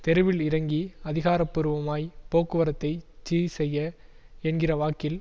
தெருவில் இறங்கி அதிகார பூர்வமாய் போக்குவரத்தைச் சீர் செய்ய என்கிற வாக்கில்